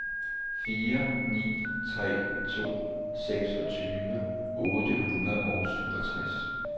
fire ni tre to seksogtyve otte hundrede og syvogtres